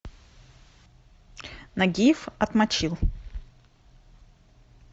нагиев отмочил